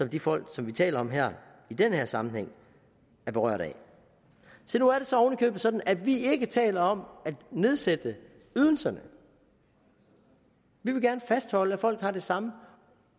de folk som vi taler om her i den her sammenhæng er berørt af se nu er det så oven i købet sådan at vi ikke taler om at nedsætte ydelserne vi vil gerne fastholde at folk har det samme